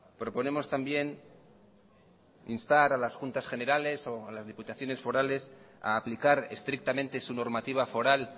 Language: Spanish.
proponemos también instar a las juntas generales o a las diputaciones forales a aplicar estrictamente su normativa foral